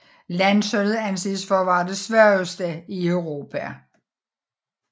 Landsholdet anses for at være det svageste i Europa